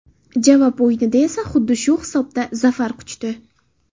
Javob o‘yinida esa xuddi shu hisobda zafar quchdi.